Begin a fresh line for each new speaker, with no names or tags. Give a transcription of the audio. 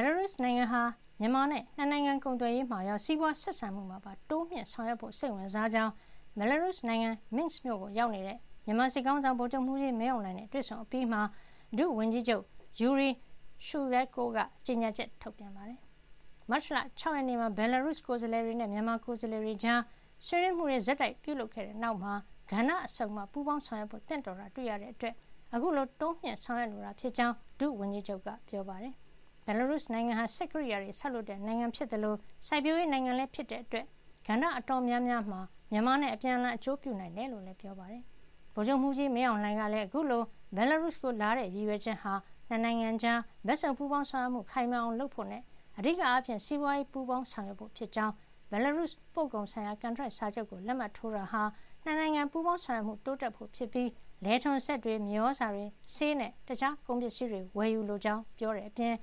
်လာရုစ်နိုင်ငံဟာ မြန်မာနဲ့ ၂ နိုင်ငံကုန်သွယ်ရေးမှာရော စီးပွါးဆက်ဆံမှုမှာပါ တိုးမြှင့်ဆောင်ရွက်ဖို့ စိတ်ဝင်စားကြောင်း ဘယ်လ်လာရုစ်နိုင်ငံ Minsk မြို့ကိုရောက်နေတဲ့ မြန်မာစစ်ခေါင်းဆောင် ဗိုလ်ချုပ်မှုးကြီး မင်းအောင်လှိုင်နဲ့ တွေ့ဆုံ အပြီးမှာ ဒုဝန်ကြီးချုပ် Yuri Shuleiko က ကြေညာချက် ထုတ်ပြန်ပါတယ်။ မတ်လ ၆ ရက်နေ့မှာ ဘယ်လ်လာရုစ် ကိုယ်စားလှယ်တွေနဲ့ မြန်မာကိုယ်စားလှယ်တွေကြား ဆွေးနွေးမှုတွေ ဆက်တိုက်ပြုလုပ်ခဲ့တဲ့ နောက်မှာ ကဏ္ဍစုံမှာ ပူးပေါင်းဆောင်ရွက်ဖို့ သင့်တော်တာ တွေ့ခဲ့ရတဲ့အတွက် အခုလို တိုးမြှင့်ဆောင်ရွက်လိုတာ ဖြစ်ကြောင်း ဒုဝန်ကြီးချုပ်က ပြောပါတယ်။ ဘယ်လ်လာရုစ်နိုင်ငံဟာ စက်ကရိယာတွေ ဆောက်လုပ်တဲ့ နိုင်ငံ ဖြစ်သလို စိုက်ပျိုးရေးနိုင်ငံလည်း ဖြစ်တဲ့အတွက် ကဏ္ဍအတော် များများမှာ မြန်မာနဲ့ အပြန်အလှန် အကျိုးပြုနိုင်တယ် လို့လည်း ပြောပါတယ်။ ဗိုလ်ချုပ်မှုးကြီးမင်းအောင်လှိုင် ကလည်း အခုလို ဘယ်လ်လာရုစ်ကို လာရောက်တဲ့ ရည်ရွယ်ချက်က ၂ နိုင်ငံကြား ဘက်စုံပူးပေါင်း ဆောင်ရွက်မှု ခိုင်မာအောင်လုပ်ဖို့နဲ့ အဓိကအားဖြင့် စီးပွါးရေးပူးပေါင်းဆောင်ရွက်ဖို့ ဖြစ်ကြောင်း၊ ဘယ်လာရုစ် ပို့ကုန်ဆိုင်ရာ ကန်ထရိုက်စာချုပ်ကို လက်မှတ်ထိုးတာဟာ ၂ နိုင်ငံ ပူးပေါင်းဆောင်ရွက်မှု တိုးတက်ဖို့ ဖြစ်ပြီး လယ်ထွန်စက်တွေ၊ မြေသြဇာတွေ၊ ဆေးနဲ့ တခြားကုန်ပစ္စည်းတွေ ဝယ်ယူလိုကြောင်းပြောကြားခဲ့တဲ့ အ